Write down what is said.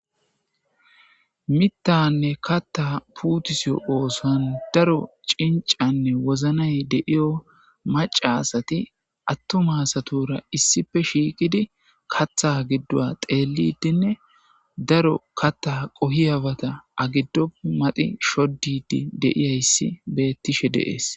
mittanne katta puutiso oosan daro cincanne woznay deiyo maca asati attuma satora issife shiiqidi katha giddua xeellidinne daro katta qohiyawata agiddo madi shoddidi deiyayssi bettishe deees